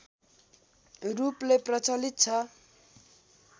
रूपले प्रचलित छ